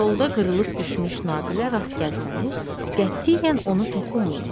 Yolda qırılıb düşmüş naqilə rast gəlsəniz, qətiyyən ona toxunmayın.